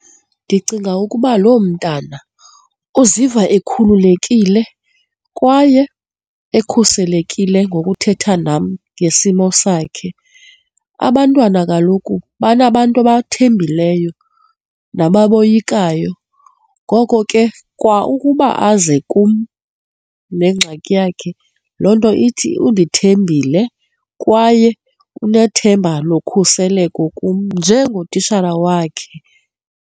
Ndicinga ukuba loo mntana uziva ekhululekile kwaye ekhuselekile ngokuthetha nam ngesimo sakhe, abantwana kaloku banabantu abathembileyo nababoyikayo. Ngoko ke kwa ukuba aze kum nengxaki yakhe, loo nto ithi undithembile kwaye unethemba lokhuseleko kum njengotitshala wakhe.